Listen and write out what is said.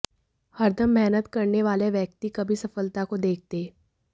हरदम मेहनत करने वाले व्यक्ति कभी सफलता को देखते